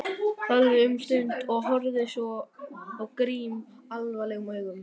Þagði um stund en horfði svo á Grím alvarlegum augum.